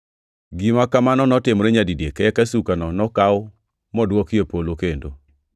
Gima kamano notimore nyadidek, eka sukano nokaw modwoki e polo kendo.